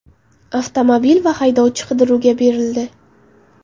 Avtomobil va haydovchi qidiruvga berildi.